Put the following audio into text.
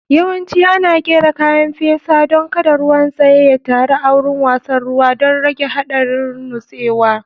Yawanci ana ƙera kayan fesa don kada ruwan tsaye ya taru a wurin wasan ruwa don rage haɗarin nutsewa.